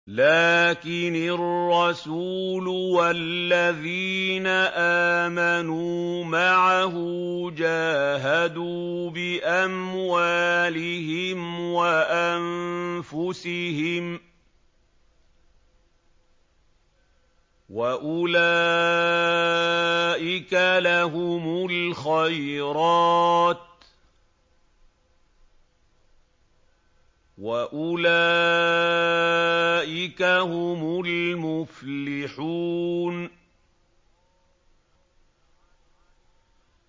لَٰكِنِ الرَّسُولُ وَالَّذِينَ آمَنُوا مَعَهُ جَاهَدُوا بِأَمْوَالِهِمْ وَأَنفُسِهِمْ ۚ وَأُولَٰئِكَ لَهُمُ الْخَيْرَاتُ ۖ وَأُولَٰئِكَ هُمُ الْمُفْلِحُونَ